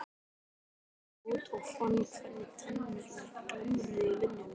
Hann gekk út og fann hvernig tennurnar glömruðu í munninum.